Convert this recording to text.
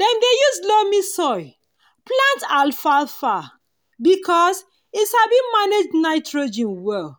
dem dey use loamy soil plant alfalfa because e sabi manage nitrogen well